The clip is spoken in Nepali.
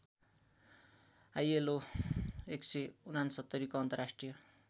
आईएलओ १६९ को अन्तर्राष्ट्रिय